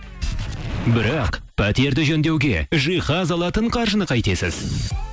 бірақ пәтерді жөндеуге жиһаз алатын қаржыны қайтесіз